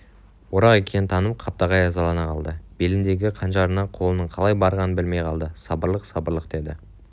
орақ екенін танып қаптағай ызалана қалды беліндегі қанжарына қолының қалай барғанын білмей қалды сабырлық сабырлық деді